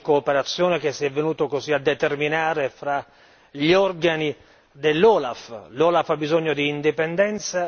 Mi sembra corretto il rapporto di cooperazione che si è venuto così a determinare fra gli organi dell'OLAF.